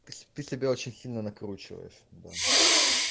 ты сё ты себя очень сильно накручиваешь да